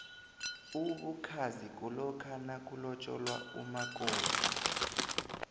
ubukhazi kulokha nakulotjolwa umakofi